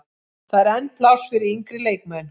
Það er enn pláss fyrir yngri leikmenn.